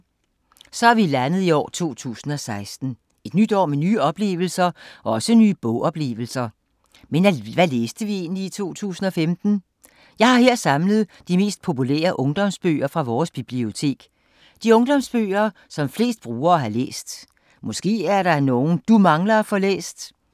Så er vi landet i år 2016. Et nyt år med nye oplevelser og også nye bog-oplevelser. Men hvad læste vi egentlig i 2015? Jeg har her samlet de mest populære ungdomsbøger fra vores bibliotek. De ungdomsbøger som flest brugere har læst. Måske er der nogle, du mangler at få læst...